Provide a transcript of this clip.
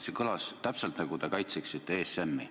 See kõlas täpselt nii, nagu te kaitseksite ESM-i.